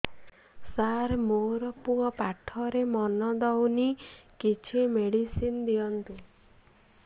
ସାର ମୋର ପୁଅ ପାଠରେ ମନ ଦଉନି କିଛି ମେଡିସିନ ଦିଅନ୍ତୁ